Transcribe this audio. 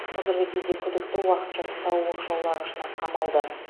қазіргі кезде күдікті уақытша ұстау оқшаулағышына қамалды